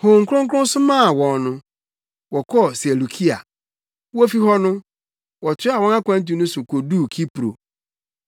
Honhom Kronkron somaa wɔn no, wɔkɔɔ Seleukia. Wofi hɔ no, wɔtoaa wɔn akwantu no so koduu Kipro.